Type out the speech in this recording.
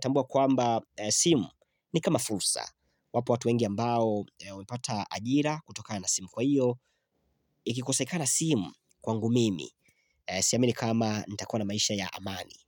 tambua kwamba simu ni kama fursa Wapo watu wengi ambao wamepata ajira kutokana na simu kwa hiyo Ikikosekana simu kwangu mimi, siamini kama nitakua na maisha ya amani.